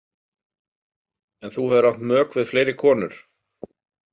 En þú hefur átt mök við fleiri konur?